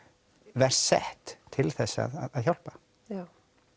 verst sett til þess að hjálpa já